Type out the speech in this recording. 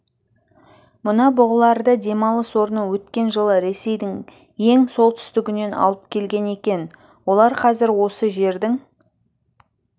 мына бұғыларды демалыс орны өткен жылы ресейдің ең солтүстігінен алып келген екен олар қазір осы жердің